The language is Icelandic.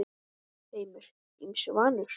Heimir: Ýmsu vanur?